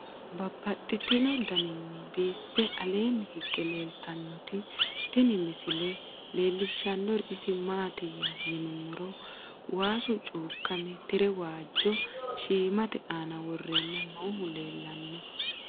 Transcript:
Babaxxittinno daninni biiffe aleenni hige leelittannotti tinni misile lelishshanori isi maattiya yinummoro waassu cuukkamme tire waajjo shiimmatte aanna worrenna noohu leelanno.